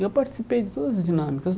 E eu participei de todas as dinâmicas.